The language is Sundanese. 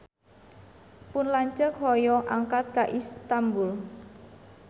Pun lanceuk hoyong angkat ka Istanbul